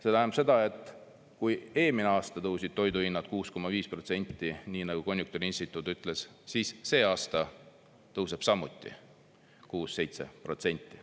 See tähendab seda, et kui eelmisel aasta tõusid toiduhinnad 6,5%, nii nagu konjunktuuriinstituut ütles, siis see aasta tõuseb samuti 6–7%.